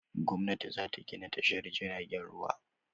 Gwamnati za ta gina tashar jiragen ruwa.